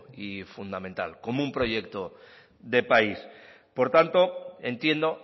y fundamental como un proyecto de país por tanto entiendo